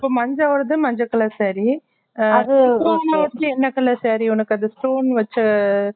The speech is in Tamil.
இப்போ மஞ்சா ஓடாது மஞ்ச colour saree ஆஹ் என்ன colour saree உனக்கு அது stone வச்சா